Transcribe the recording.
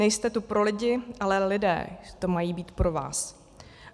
Nejste tu pro lidi, ale lidé tu mají být pro vás.